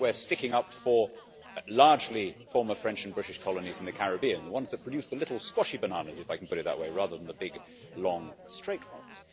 We think we are sticking up for largely former French and British colonies in the Caribbean, the ones that produce the little squashy bananas, if I can put it that way, rather than the big long straight ones.